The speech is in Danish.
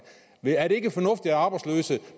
er det ikke fornuftigt at arbejdsløse